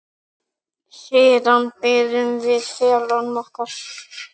Siðan biðum við félaga okkar.